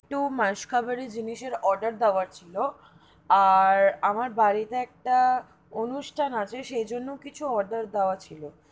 একটু মাস খাবারে জিনিসের order দেবার ছিলো আর আমার বাড়ি তে একটা অনুষ্ঠান আছে সে জন্য কিচ্ছু order দেয়ার ছিল.